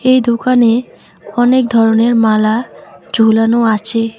এই দোকানে অনেক ধরনের মালা ঝোলানো আছে।